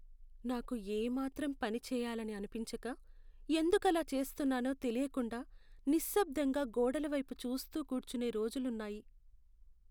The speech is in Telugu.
నాకు ఏమాత్రం పని చేయాలని అనిపించక, ఎందుకు అలా చేస్తున్నానో తెలియకుండా నిశ్శబ్దంగా గోడల వైపు చూస్తూ కూర్చునే రోజులు ఉన్నాయి.